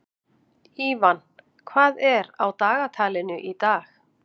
Ívan, hvað er á dagatalinu í dag?